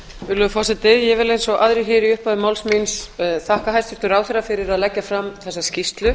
virðulegi forseti ég vil eins og aðrir í upphafi máls míns þakka hæstvirtum ráðherra fyrir að leggja fram þessa skýrslu